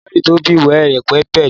Library to be well-equipped.